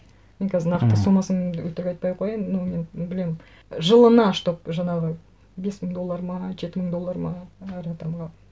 мен қазір нақты сомасын өтірік айтпай ақ қояйын ну мен білемін жылына чтобы жаңағы бес мың доллар ма жеті мың доллар ма әр адамға